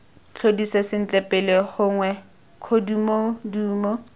tlhodise sentle pele gongwe kgodumodumo